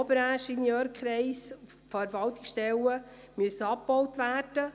Eins zu eins steht es so im «Tagblatt».